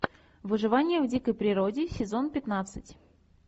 выживание в дикой природе сезон пятнадцать